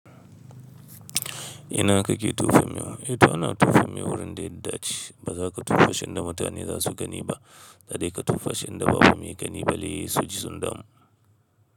Ina kake tufe yahu? Ito ana tufe yahu wurin da ya dace. Ba za ka tufashi inda mutane za su gani ba. Da dai ka tufashi inda babu mai gani bare, su ji sun damu.